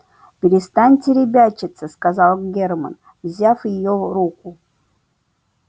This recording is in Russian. перестаньте ребячиться сказал германн взяв её руку